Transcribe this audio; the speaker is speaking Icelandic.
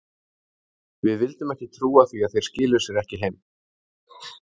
Við vildum ekki trúa því að þeir skiluðu sér ekki heim.